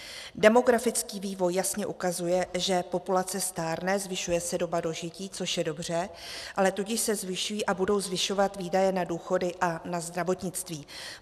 Demografický vývoj jasně ukazuje, že populace stárne, zvyšuje se doba dožití, což je dobře, ale tudíž se zvyšují a budou zvyšovat výdaje na důchody a na zdravotnictví.